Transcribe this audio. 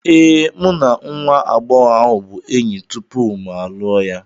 Ee, mụ na nwa agbọghọ ahụ bụ enyi tupu mụ alụọ ya.